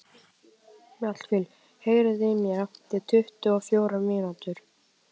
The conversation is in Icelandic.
Mjallhvít, heyrðu í mér eftir tuttugu og fjórar mínútur.